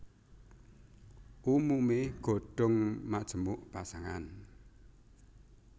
Umumé godhong majemuk pasangan